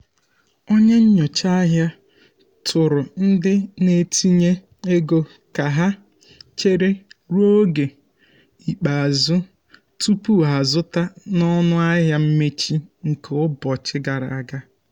onye nyocha ahịa tụụrụ ndị um na-etinye ego ka ha chere ruo oge ikpeazụ tupu ha zụta na ọnụahịa mmechi um nke ụbọchị gara aga.